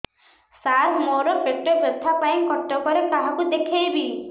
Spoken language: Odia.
ସାର ମୋ ର ପେଟ ବ୍ୟଥା ପାଇଁ କଟକରେ କାହାକୁ ଦେଖେଇବି